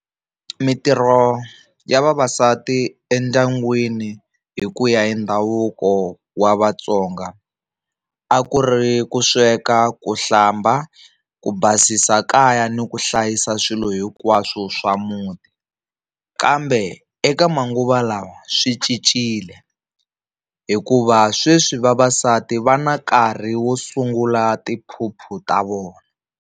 Mintirho ya vavasati endyangwini hi ku ya hi ndhavuko wa Vatsonga a ku ri ku sweka, ku hlamba, ku basisa kaya ni ku hlayisa swilo hinkwaswo swa muti. Kambe eka manguva lawa swi cincile hikuva sweswi vavasati va na nkarhi wo sungula tiphuphu ta vona.